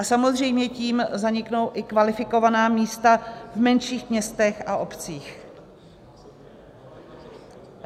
A samozřejmě tím zaniknou i kvalifikovaná místa v menších městech a obcích.